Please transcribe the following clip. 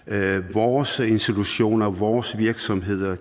vores institutioner vores virksomheder